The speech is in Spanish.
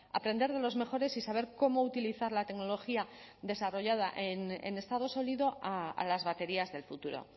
aprender de los mejores y saber cómo utilizar la tecnología desarrollada en estado sólido a las baterías del futuro